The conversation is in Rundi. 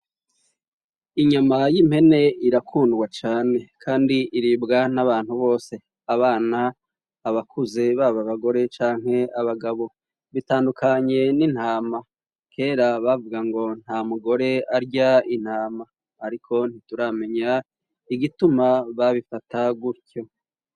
inyama y'impene irakundwa cane kandi iribwa n'abantu bose abana abakuze baba bagore canke abagabo bitandukanye n'intama kera bavuga ngo nta mugore arya intama ariko ntituramenya igituma babifata gutyo